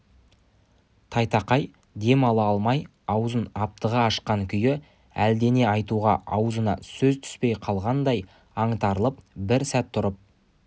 тайтақай дем ала алмай аузын аптыға ашқан күйі әлдене айтуға аузына сөз түспей қалғандай аңтарылып бір сәт тұрып